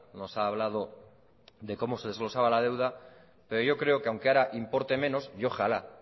nos ha hablado de cómo se desglosaba la deuda pero yo creo que aunque ahora importe menos y ojalá